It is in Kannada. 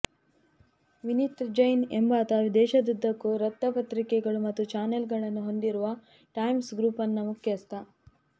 ವಿನೀತ್ ಜೈನ್ ಎಂಬಾತ ದೇಶದುದ್ದಕ್ಕೂ ವೃತ್ತಪತ್ರಿಕೆಗಳು ಮತ್ತು ಚಾನೆಲ್ಗಳನ್ನು ಹೊಂದಿರುವ ಟೈಮ್ಸ್ ಗ್ರೂಪ್ನ ಮುಖ್ಯಸ್ಥ